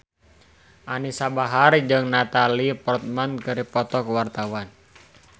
Anisa Bahar jeung Natalie Portman keur dipoto ku wartawan